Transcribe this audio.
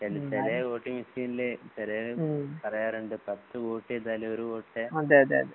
ചെല വോട്ടിംഗ് മെഷീനില് ചെലര് പറയാറിൻഡ് പത്തുവോട്ടുചെയ്തയാലും ഒരു വോട്ടെ